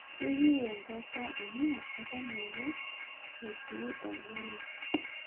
Ekiyieu enkata amu eton ske etii orgela